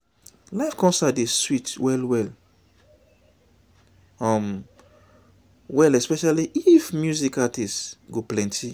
live concert dey sweet well sweet well um well especially if music artist go plenty